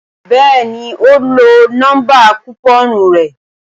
Bẹ́ẹ̀ni ó lọ nọ́mbà kùpọ́ọ̀nù rẹ̀